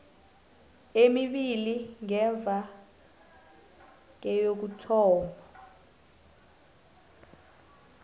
emibili ngemva kokuthoma